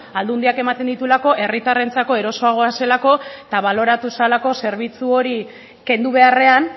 aldundiak ematen dituelako herritarrentzako erosoagoa zelako eta baloratu zelako zerbitzu hori kendu beharrean